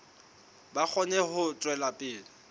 ba kgone ho tswela pele